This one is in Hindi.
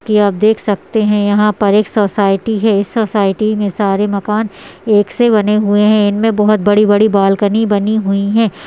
की आप देख सकते हैं यहाँ पर एक सोसाइटी है इस सोसाइटी में सारे मकान एक से बने हुए हैं इनमें बहोत बड़ी बड़ी बालकनी बनी हुई है ।